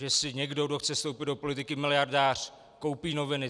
Že si někdo, kdo chce vstoupit do politiky, miliardář, koupí noviny.